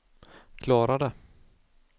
klarade